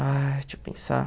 Ai, deixa eu pensar.